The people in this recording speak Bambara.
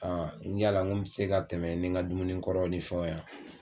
n yala ŋo bi se ka tɛmɛ ni ŋa dumuni kɔrɔ ni fɛnw ya?